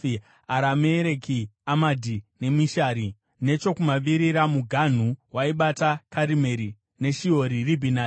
Aramereki, Amadhi, neMishari. Nechokumavirira, muganhu waibata Karimeri neShihori Ribhinati.